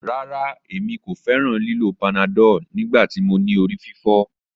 Rara, Emi ko fẹran lilo panadol nigbati mo ni orififo.